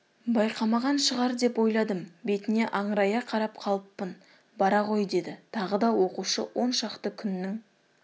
байқамаған шығар деп ойладым бетіне аңырая қарап қалыппын бара ғой деді тағы да оқушы оншақты күннің